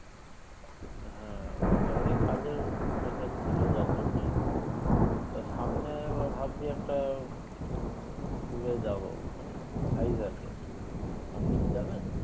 হ্যাঁ ওটারই কাজের pressure ছিলো যার জন্যই তো সামনে আবার ভাবছি একটা উম tour এ যাবো মানে Vizag এ আপনি কী যাবেন?